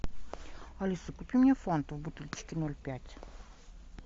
алиса купи мне фанту в бутылочке ноль пять